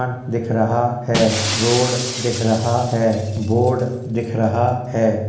दिख रहा है रोड दिख रहा है बोर्ड दिख रहा है।